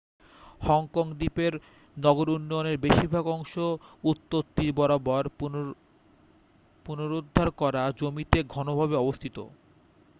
Hong Kong দ্বীপের নগর উন্নয়নের বেশিরভাগ অংশ উত্তর তীর বরাবর পুনরদ্ধার করা জমিতে ঘনভাবে অবস্থিত